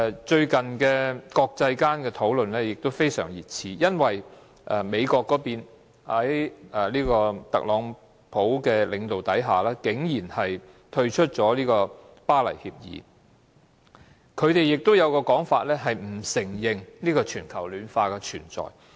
最近，國際間對全球暖化的討論非常熱熾，因為美國在特朗普領導下，竟然退出《巴黎協定》，他們的說法是，不承認全球暖化的存在。